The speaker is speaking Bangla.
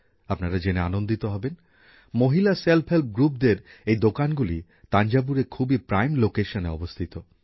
আপনারা জেনে আনন্দিত হবেন মহিলা স্বনির্ভর গোষ্ঠীদের এই দোকানগুলি তাঞ্জাভুরে খুবই গুরুত্বপূর্ণ স্থানে অবস্থিত